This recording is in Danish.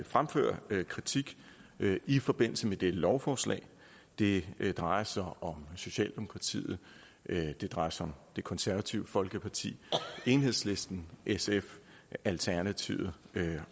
fremføre kritik i forbindelse med dette lovforslag det drejer sig om socialdemokratiet det drejer sig om det konservative folkeparti enhedslisten sf alternativet